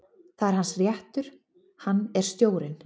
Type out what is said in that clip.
Það er hans réttur, hann er stjórinn.